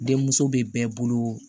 Den muso bɛ bɛɛ bolo